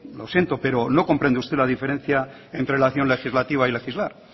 lo siento pero no comprende usted la diferencia entre la acción legislativa y legislar